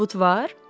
Sübut var?